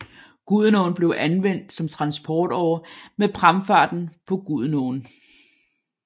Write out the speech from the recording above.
Gudenåen blev anvendt som transportåre med pramfarten på Gudenåen